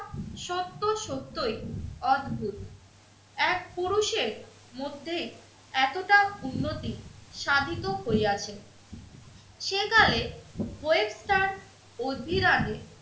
সত্য সত্যই অদ্ভুত। এক পুরুষের মধ্যেই এতটা উন্নতি সাধিত হইয়াছে সেকালে ওয়েবস্টার ও বিরাটে